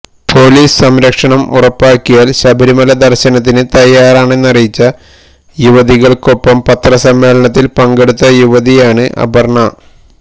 police സംരക്ഷണം ഉറപ്പാക്കിയാൽ ശബരിമല ദർശനത്തിന് തയാറാണെന്നറിയിച്ച യുവതികള്ക്കൊപ്പം പത്രസമ്മേളനത്തില് പങ്കെടുത്ത യുവതിയാണ് അപര്ണ